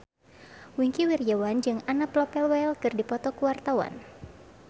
Wingky Wiryawan jeung Anna Popplewell keur dipoto ku wartawan